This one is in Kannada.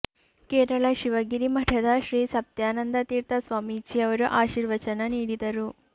ಕೇರಳ ಶಿವಗಿರಿ ಮಠದ ಶ್ರೀ ಸತ್ಯಾನಂದ ತೀರ್ಥ ಸ್ವಾಮೀಜಿಯವರು ಆಶೀರ್ವಚನ ನೀಡಿದರು